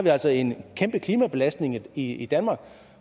har altså en kæmpe klimabelastning i danmark